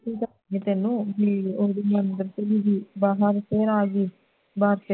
ਤੇ ਤੈਨੂੰ ਵੀ